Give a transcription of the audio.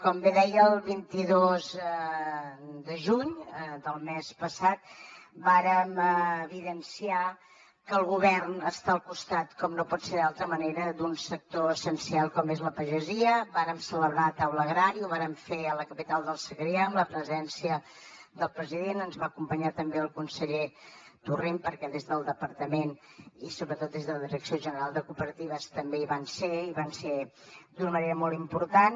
com bé deia el vint dos de juny del mes passat vàrem evidenciar que el govern està al costat com no pot ser d’altra manera d’un sector essencial com és la pagesia vàrem celebrar taula agrària ho vàrem fer a la capital del segrià amb la presència del president ens va acompanyar també el conseller torrent perquè des del departament i sobretot des de la direcció general de cooperatives també hi van ser i hi van ser d’una manera molt important